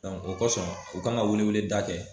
o kɔsɔn u kan ka weleweleda kɛ